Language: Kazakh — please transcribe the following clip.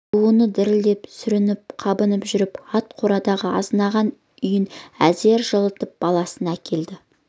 жаңыл буыны дірілдеп сүрініп-қабынып жүріп ат қорадай азынаған үйін әзер жылытып баласын әкелді